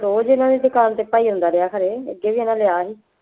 ਰੋਜ਼ ਇਹਨਾ ਦੀ ਦੁਕਾਨ ਤੇ ਭਾਈ ਆਉਂਦਾ ਰਿਹਾ ਖਨੀ ਅੱਗੇ ਵੀ ਇਹਨਾ ਦੇ ਆਇਆ ਸੀ